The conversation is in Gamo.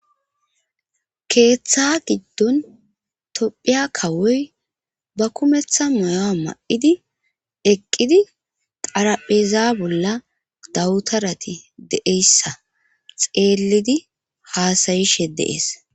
keeththa giddon tophiya kawoy ba kumeththa mayoa ma7idi eqqidi xarapheza bolla dawutarati deeyssa xeellidi haasayishe deees